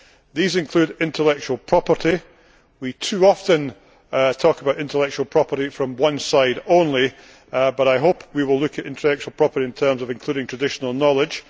account. These include intellectual property. Too often, we talk about intellectual property from one side only, but I hope that we will look at intellectual property in terms of including traditional knowledge.